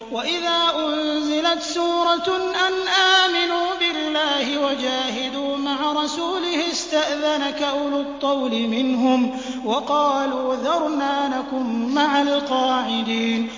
وَإِذَا أُنزِلَتْ سُورَةٌ أَنْ آمِنُوا بِاللَّهِ وَجَاهِدُوا مَعَ رَسُولِهِ اسْتَأْذَنَكَ أُولُو الطَّوْلِ مِنْهُمْ وَقَالُوا ذَرْنَا نَكُن مَّعَ الْقَاعِدِينَ